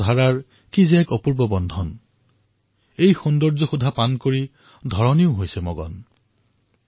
অৰ্থাৎ বাৰিষাৰ প্ৰাণোচ্চলতা আৰু পানীৰ ধাৰাৰ বন্ধন অপূৰ্ব আৰু ইয়াৰ সৌন্দৰ্য দেখি পৃথিৱীও মগ্ন হৈ পৰিছে